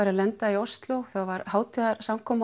að lenda í Osló það var hátíðarsamkoma